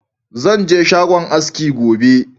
Zan je shagon aski gobe.